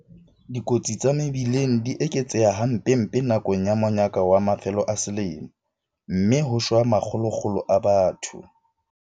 Dikotsi tsa mebileng di eketseha hampempe nakong ya monyaka wa mafelo a selemo, mme ho shwa ma kgolokgolo a batho.